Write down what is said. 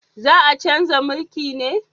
Za a chanza mulki ne?